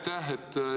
Aitäh!